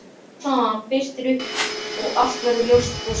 Smám saman birtir upp og allt verður ljóst og skært.